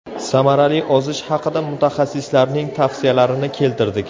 Samarali ozish haqida mutaxassislarning tavsiyalarini keltirdik.